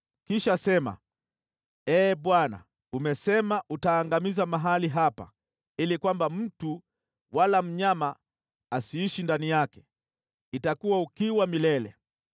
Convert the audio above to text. Kisha sema, ‘Ee Bwana , umesema utaangamiza mahali hapa ili mtu wala mnyama asiishi ndani yake, napo patakuwa ukiwa milele.’